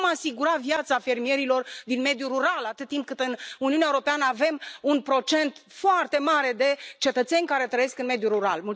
Cum vom asigura viața fermierilor din mediul rural atât timp cât în Uniunea Europeană avem un procent foarte mare de cetățeni care trăiesc în mediul rural?